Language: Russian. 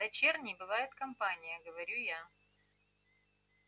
дочерней бывает компания говорю я